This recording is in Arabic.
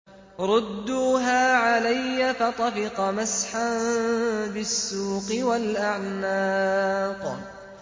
رُدُّوهَا عَلَيَّ ۖ فَطَفِقَ مَسْحًا بِالسُّوقِ وَالْأَعْنَاقِ